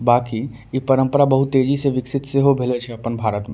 बाकि इ परम्परा बहुत तेजी से विकसित से हो भैलो छे अपन भारत म।